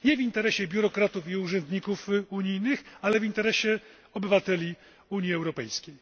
Nie w interesie biurokratów i urzędników unijnych, ale w interesie obywateli Unii Europejskiej.